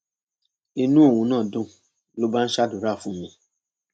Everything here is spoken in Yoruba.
inú òun náà dùn ló bá ń ṣàdúrà fún mi